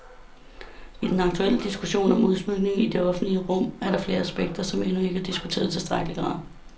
I den aktuelle diskussion om udsmykninger i det offentlige rum er der flere aspekter, som endnu ikke er diskuteret i tilstrækkelig grad.